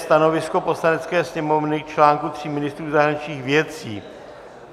Stanovisko Poslanecké sněmovny k článku tří ministrů zahraničních věcí